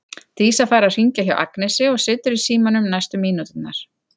Dísa fær að hringja hjá Agnesi og situr í símanum næstu mínúturnar.